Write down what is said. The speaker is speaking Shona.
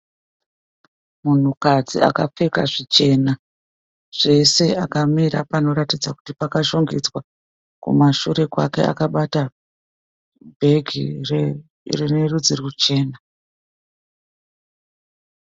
Munhukadzi akapfeka zvichena zvese akamira panoratidza kuti pakashongedzwa. Kumashure kwake akabata bhegi rine rudzi ruchena.